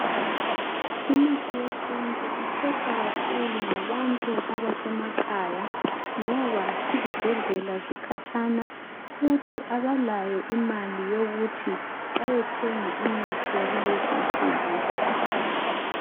Imithi yesintu ikhethwa kakhulu ngabantu abasemakhaya ngoba izibhedlela zikhatshana, futhi abalayo imali yokuthi bayethenga imithi yakulezi insuku.